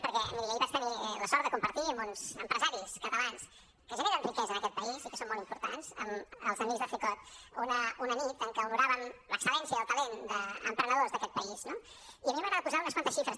perquè miri ahir vaig tenir la sort de compartir amb uns empresaris catalans que generen riquesa en aquest país i que són molt importants amb els amics de cecot una nit en què honoràvem l’excel·lència i el talent d’emprenedors d’aquest país no i a mi m’agrada posar unes quantes xifres també